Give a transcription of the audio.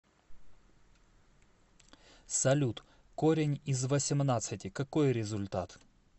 салют корень из восемнадцати какой результат